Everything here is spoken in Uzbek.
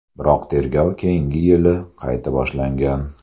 Biroq tergov keyingi yili qayta boshlangan.